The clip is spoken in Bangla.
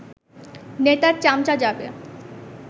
নেতার চামচা যাবে